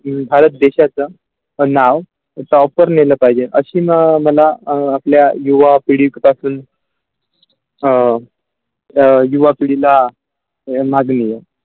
भारत देशाच्या नाव top वर पहिला पाहिजे अशी म मला अ आपल्या युवा पिढी पासून अ अ युवा पिढीला .